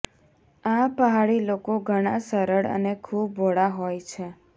આ પહાડી લોકો ઘણા સરળ અને ખૂબ ભોળા હોય છે